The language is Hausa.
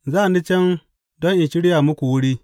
Za ni can don in shirya muku wuri.